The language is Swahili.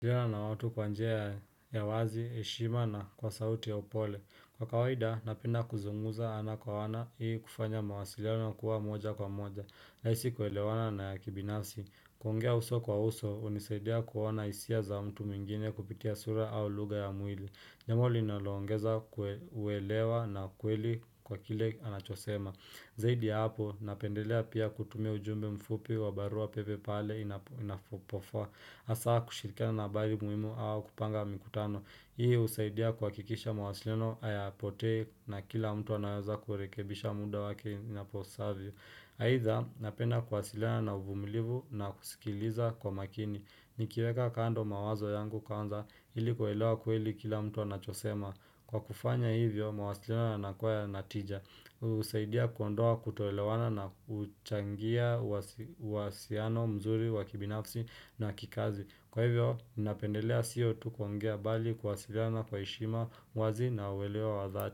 Ongea na watu kwa njia ya wazi, heshima na kwa sauti ya upole. Kwa kawaida, napenda kuzungumza ana kwa ana ili kufanya mawasiliano kuwa moja kwa moja. Rahisi kuelewana na ya kibinafsi. Kuongea uso kwa uso, hunisaidia kuona hisia za mtu mwingine kupitia sura au lugha ya mwili. Jambo linaloongeza kuelewa na kweli kwa kile anachosema. Zaidi ya hapo, napendelea pia kutumia ujumbe mfupi wa barua pepe pale inapofaa. Hasa kushirikiana na habari muhimu au kupanga mikutano Hii husaidia kuhakikisha mwasiliano hayapotei na kila mtu anaweza kurekebisha muda wake inapasavyo aidha napenda kuwasiliana na uvumilivu na kusikiliza kwa makini nikiweka kando mawazo yangu kwanza ilikuelewa kweli kila mtu anachosema Kwa kufanya hivyo mawasiliano yanakuwa ya natija husaidia kuondoa kutoelewana na huchangia wasiano mzuri wakibinafsi na wa kikazi Kwa hivyo, ninapendelea siyo tu kuongea bali kuwasiliana kwa heshima wazi na uweleo wa zati.